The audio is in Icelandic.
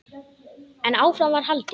En áfram var haldið.